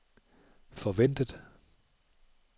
forventet